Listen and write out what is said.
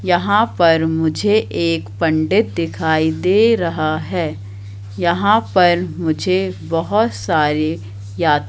यहाँ पर मुझे एक पंडित दिखाई दे रहा है यहां पर मुझे बहुत सारे या --